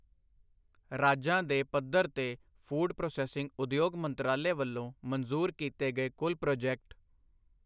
ਰਾਜਾਂ ਦੇ ਪੱਧਰ ਤੇ ਫੂਡ ਪ੍ਰੋਸੇਸਿੰਗ ਉਦਯੋਗ ਮੰਤਰਾਲਾ ਵੱਲੋਂ ਮੰਜ਼ੂਰ ਕੀਤੇ ਗਏ ਕੁੱਲ ਪ੍ਰੋਜੇਕਟ